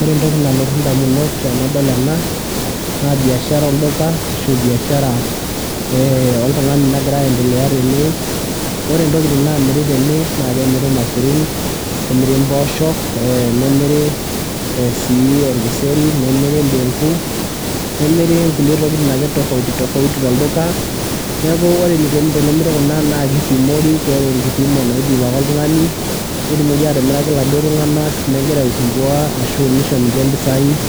Ore entoki nalotu ndamunot tenadol ena naa biashara olduka ashu biashara ee oltung'ani nagira aendelea tene. Ore intokitin naamiri tene naake emiri irmaisurin, nemiri impooshok, ee nemiri sii orkiseri, nemiri indeng'u, nemiri nkulie tokitin ake tofauti tofauti tolduka. Neeku ore enikuni tenemiri kuna naake ipimori keeta enkipimo naipim ake oltung'ani netumoki atimiraki iladuo tung'anak megira aisumbua ashu nisho ninche impisai